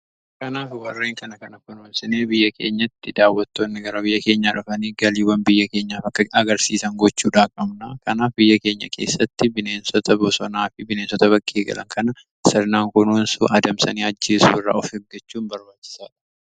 Kanaaf warreen kana kana kunuunsanii biyya keenyatti daawwattoonni gara biyya keenyaa dhufanii galiiwwan biyya keenyaaf akka argamsiisan gochuudha qabna. Kanaaf biyya keenya keessatti bineensota bsonaa fi bineensota bakkee galan kana sirnaan kunuunsuun adamsanii ajjeisuu irraa of eggachuun barbaachisaadha.